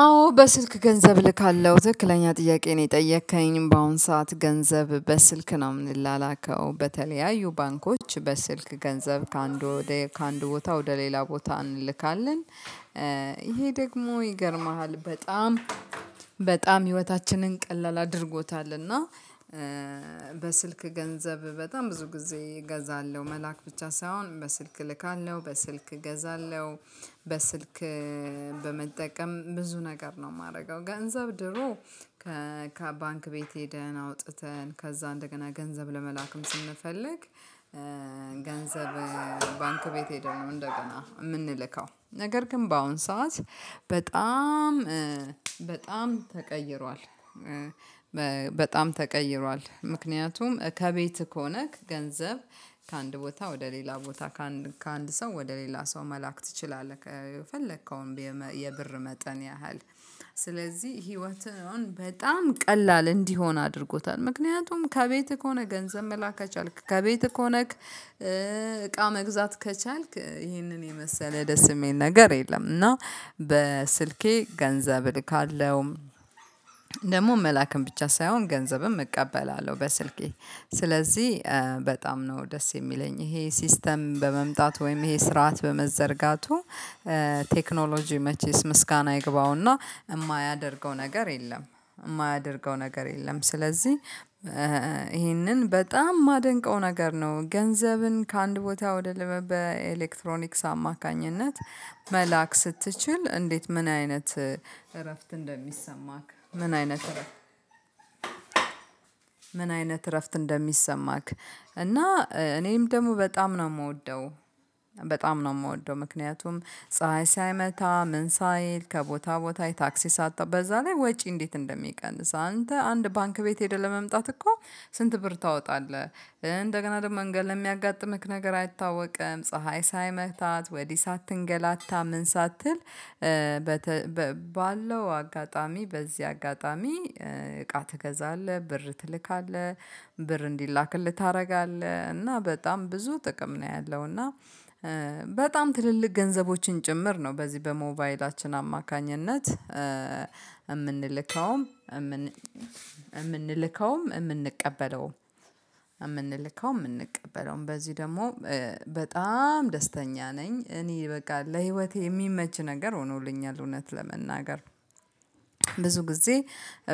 አዎ በስልክ ገንዘብ እልካለሁ ትክክለኛ ጥያቄ ነው የጠየከኝ በአሁን ሰዓት ገንዘብ በስልክ ነው የምንላላከው በተለያዩ ባንኮች በስልክ ገንዘብ ከአንዱ ከአንድ ቦታ ወደ ሌላ ቦታ እንልካለን። ይሄ ደግሞ ይገርምሃል በጣም በጣም ህይወታችንን ቀላል አድርጎታልና በስልክ ገንዘብ በጣም ብዙ ጊዜ እገዛለሁ መላክ ብቻ ሳይሆን በስልክ እልካለሁ በስልክ እገዛለሁ በስልክ በመጠቀም ብዙ ነገር ነው የማደርገው ገንዘብ ድሮ ከባንክ ቤት ሄደን አውጥተን ከዛ እንደገና ገንዘብ ለመላክም ስንፈልግ ገንዘብ ባንክ ቤት ሄደንነው እንደገና የምንልከው ነገር ግን በአሁን ሰዓት በጣም በጣም ተቀይሯል በጣም ተቀይሯል ምክንያቱም ከቤት ከሆነክ ገንዘብ ከአንድ ቦታ ወደ ሌላ ቦታ ከአንድ ከአንድ ሰው ወደ ሌላ ሰው መላክ ትችላለህ የከፈለከው የብር መጠን ያህል ስለዚህ ህይወትን በጣም ቀላል እንዲሆን አድርጎታል ምክንያቱም ከቤትህ ሆነህ ገንዘብ መላክ ከቻልክ፤ ከቤት ሆነክ እቃ መግዛት ከቻልክ ይህንን የመሰለ ደስ የሚል ነገር የለም እና በስልኬ ገንዘብ እልካለሁ፤ ደግሞ መላክም ብቻ ሳይሆን ገንዘብም እቀበላለሁ በስልኬ ስለዚህ በጣም ነው ደስ የሚለኝ። ይሄ ሲስተም በመምጣቱ ወይም ይሄ ስርዓት በመዘርጋቱ ቴክኖሎጂ መቼስ ምስጋና ይግባውና፤ የማያደርገው ነገር የለም፤ የማያደርገው ነገር የለም ስለዚህ ይሄንን በጣም የማደንቀው ነገር ነው። ገንዘብን ከአንድ ቦታ ወደ ሌላ ቦታ በኤሌክትሮኒክስ አማካኝነት መላክ ስትችል እንዴት ምን አይነት እረፍት እንደሚሰማክ ምን አይነት እረፍት ምን አይነት እረፍት እንደሚሰማክ እና እኔም ደግሞ በጣም ነው የምወደው በጣም ነው የምወደው ምክንያቱም ፀሀይ ሳይመታ ምን ሳይል ከቦታ ቦታ ታክሲ ሳትጠብቅ በዛ ላይ ወጪ እንዴት እንደሚቀንስ፥ አንተ አንድ ባንክ ቤት ሄደህ ለመምጣት እኮ ስንት ብር ታወጣለህ እንደገና ደግሞ መንገድ ላይ የሚያጋጥምህ ነገር አይታወቅም ፀሀይ ሳይመታህ ወዲህ ሳትንገላታ ምን ሳትል ባለው አጋጣሚ በዚህ አጋጣሚ እቃ ትገዛለህ፤ ብር ትልካለህ፤ ብር እንዲላክልህ ታደርጋለህ፤ እና በጣም ብዙ ጥቅም ነው ያለው እና በጣም ትልልቅ ገንዘቦችን ጭምር ነው በዚህ በሞባይላችን አማካኝነት የምንልከውም፤ የምንቀበለውም በዚህ ደግሞ በጣም ደስተኛ ነኝ፤ እኔ በቃ ለህይወቴ የሚመች ነገር ሆኖልኛል እውነት ለመናገር ብዙ ጊዜ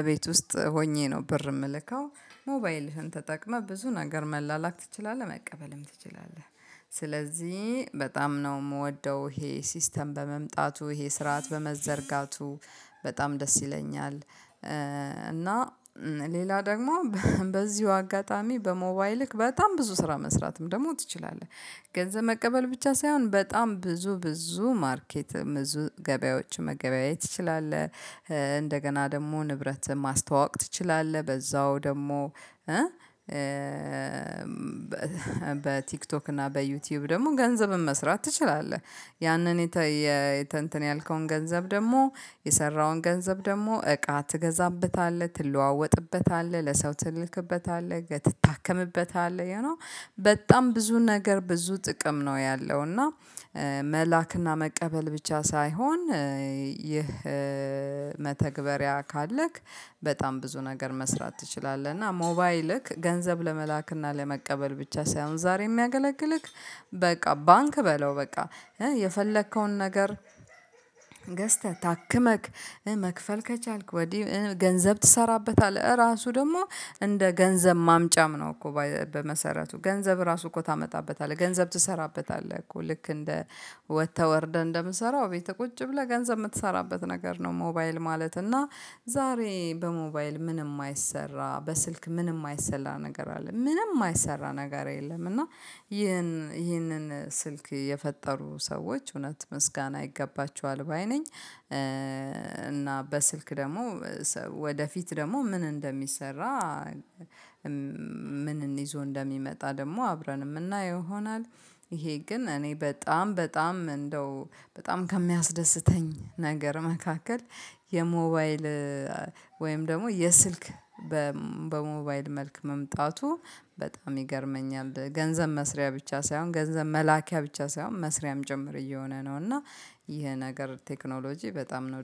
እቤት ውስጥ ሆኜ ነው ብር የምልከው፤ ሞባይልህን ተጠቅመህ ብዙ ነገር መላላክ ትችላለህ መቀበልም ትችላለህ። ስለዚህ በጣም ነው የምወደው ይሄ ሲስተም በመምጣቱ፤ ይሄ ስርዓት በመዘርጋቱ፤ በጣም ደስ ይለኛል እና ሌላ ደግሞ በዚሁ አጋጣሚ በሞባይልህ በጣም ብዙ ስራ መስራትም ደግሞ ትችላለህ፤ ገንዘብ መቀበል ብቻ ሳይሆን በጣም ብዙ ብዙ ማርኬት ብዙ ገበያዎች መገበያየት ትችላለህ፤ እንደገና ደግሞ ንብረትህን ማስተዋወቅ ትችላለህ በዛው ደግሞ በቲክቶክ እና በዩቲዩብ ደግሞ ገንዘብን መስራት ትችላለህ፤ ያንን እንተን ያልከውን ገንዘብ ደግሞ የሰራኸውን ገንዘብ ደግሞ እቃ ትገዛበታለህ፤ ትለዋወጥበታለህ፤ ለሰው ትልክበታለህ፤ ትታከምበታለህ ዩኖ በጣም ብዙ ነገር ብዙ ጥቅም ነው ያለው እና መላክና መቀበል ብቻ ሳይሆን፤ ይህ መተግበሪያ ካለክ በጣም ብዙ ነገር መስራት ትችላለህ። እና ሞባይልክ ገንዘብ ለመላክ እና ለመቀበል ብቻ ሳይሆን ዛሬ የሚያገለግልህ በቃ ባንክ በለው በቃ የፈለከውን ነገር ገዝተህ፤ ታክመክ፤ መክፈል ከቻልክ፤ ወዲህ ገንዘብ ትሰራበታለህ፤ ራሱ ደግሞ እንደ ገንዘብ ማምጫም ነው እኮ በመሰረቱ። ገንዘብ ራሱ እኮ ታመጣበታለህ፤ ገንዘብ ትሰራበታለህ፤ እኮ ልክ እንደ ወተት ተወርደህ እንደምሰራው ቤተ ቁጭ ብለህ ገንዘብ የምትሰራበት ነገር ነው ሞባይል ማለት እና ዛሬ በሞባይል ምንም አይሰራ፤ በስልክ ምንም ማይሰራ ነገር አለ፤ ምንም ማይሰራ ነገር የለም እና ይሄንን ስልክ የፈጠሩ ሰዎች እውነት ምስጋና ይገባቸውም ባይ ነኝ። እና በስልክ ደግሞ ወደፊት ደግሞ ምን እንደሚሰራ ምን ይዞ እንደሚመጣ ደግሞ አብረንም እምናየው ይሆናል ይሄ ግን እኔ በጣም በጣም እንደው በጣም ከሚያስደስተኝ ነገር መካከል የሞባይል ወይም ደግሞ የስልክ በሞባይል መልክ መምጣቱ በጣም ይገርመኛል። ገንዘብ መስሪያ ብቻ ሳይሆን ገንዘብ መላኪያ ብቻ ሳይሆን መስሪያም ጭምር እየሆነ ነው እና ይሄ ነገር ቴክኖሎጂ በጣም ነው